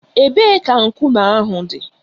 Ebee ka nkume ahụ dị?